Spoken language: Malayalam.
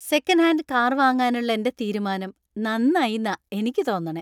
സെക്കൻഡ് ഹാൻഡ് കാർ വാങ്ങാനുള്ള എന്‍റെ തീരുമാനം നന്നായിന്നാ എനിക്ക് തോന്നണേ.